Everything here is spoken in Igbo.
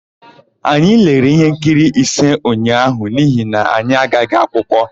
Anyị lere íhénkiri ise ụnyaahụ n'ihi na anyị agaghị akwụkwọ.